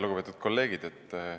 Lugupeetud kolleegid!